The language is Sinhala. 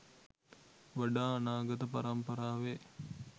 වඩා අනාගත පරම්පරාවේ